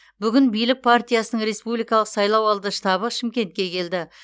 бүгін билік партиясының республикалық сайлауалды штабы шымкентке келді